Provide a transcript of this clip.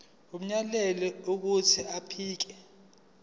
umyalelo wokuthi akhipha